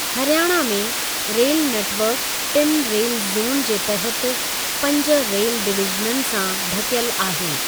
हरियाणा में rail network टिनि rail zone जे तहत पंज रेल डिवीज़ननि सां ढकियल आहे।